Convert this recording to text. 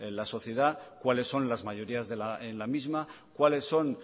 la sociedad cuáles son las mayorías en la misma cuáles son